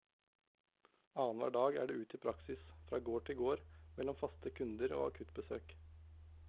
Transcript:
Annenhver dag er det ut i praksis, fra gård til gård, mellom faste kunder og akuttbesøk.